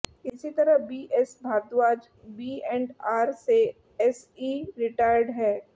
इसी तरह BS Bharadwaj B and R से एसई रिटायर्ड हैं